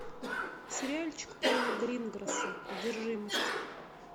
сериальчик пола гринграса одержимость